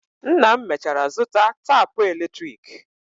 Nna m mechara zụta tapụ eletrik.